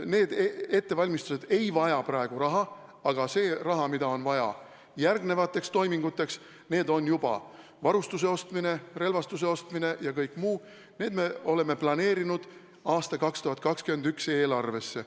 Need ettevalmistused ei vaja praegu raha, aga see raha, mida on vaja järgnevateks toiminguteks – see on juba varustuse ostmine, relvastuse ostmine ja kõik muu –, selle me oleme planeerinud aasta 2021 eelarvesse.